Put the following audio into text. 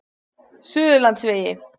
Suðurlandsvegi